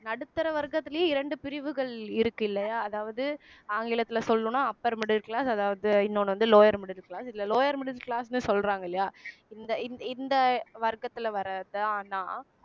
நடுத்தர வர்க்கத்திலேயும் இரண்டு பிரிவுகள் இருக்கு இல்லையா அதாவது ஆங்கிலத்திலே சொல்லணும்ன்னா upper middle class அதாவது இன்னொண்ணு வந்து lower middle class இதிலே lower middle class ன்னு சொல்றாங்க இல்லையா இந்த இந்த வர்க்கத்திலே வர்றதுதான் நான்